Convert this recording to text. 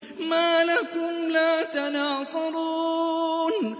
مَا لَكُمْ لَا تَنَاصَرُونَ